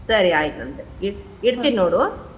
ಸರಿ ಆಯ್ತ ಇಡ್~ ಇಡ್ತಿನ ನೋಡು?